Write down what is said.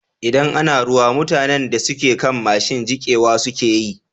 Idan ana ruwa, mutanan da suke kan mashin jikewa suke yi.